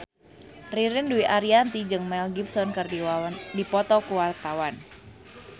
Ririn Dwi Ariyanti jeung Mel Gibson keur dipoto ku wartawan